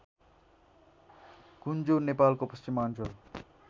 कुञ्जो नेपालको पश्चिमाञ्चल